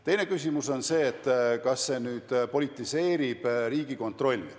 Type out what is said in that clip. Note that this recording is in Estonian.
Teine küsimus on see, kas see nüüd politiseerib Riigikontrolli.